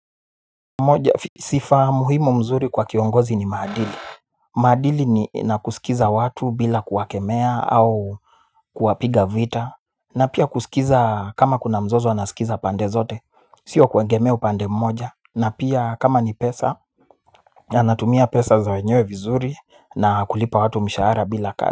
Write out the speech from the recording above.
Sifa muhimu mzuri kwa kiongozi ni maadili. Maadili ni, nakusikiza watu bila kuwakemea au kuwapiga vita. Na pia kusikiza kama kuna mzozo anasikiza pande zote. Sio kuegemea upande mmoja. Na pia kama ni pesa anatumia pesa za wenyewe vizuri. Na kulipa watu mshahara bila ka,